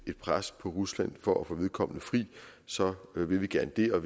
pres på rusland for at få vedkommende fri så vil vi gerne det og